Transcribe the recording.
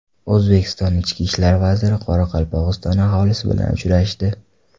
O‘zbekiston ichki ishlar vaziri Qoraqalpog‘iston aholisi bilan uchrashdi.